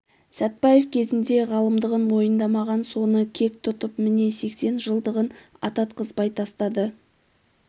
сәтбаев кезінде ғалымдығын мойындамаған соны кек тұтып міне сексен жылдығын ататқызбай тастады